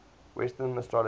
western astrology